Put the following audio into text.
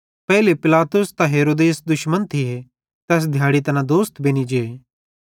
पेइले पिलातुस त हेरोदेस दुश्मन थिये तैस दिहाड़े तैना दोस्त बेनि जे